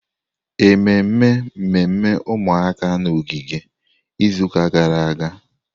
Ememe mmemme ụmụaka n'ogige izuụka gara aga?